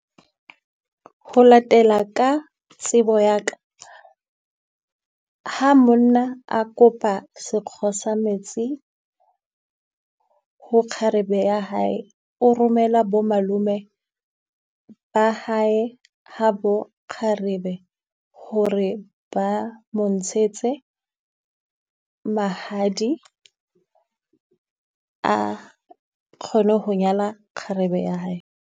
Ho latela ka tsebo ya ka, ha monna a kopa sekgo sa metsi ho kgarebe ya hae, o romela bo malome ba hae habo kgarebe hore ba mo ntshetse mahadi, a kgone ho nyala kgarebe ya hae.